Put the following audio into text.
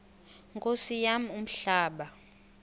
nkosi yam umhlaba